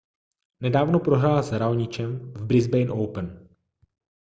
nedávno prohrál s raonicem v brisbane open